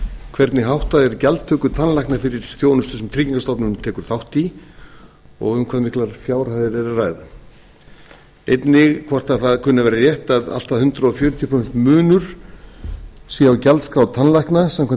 hvernig er háttað gjaldtöku tannlækna sem tryggingastofnun tekur þátt í og um hvað miklar fjárhæðir er að ræða einnig hvort það kunni að vera rétt að allt að hundrað fjörutíu prósent munur sé á gjaldskrá tannlækna samkvæmt